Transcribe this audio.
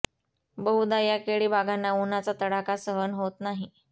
बहुदा या केळी बागांना उन्हाचा तडाखा सहन होत नाही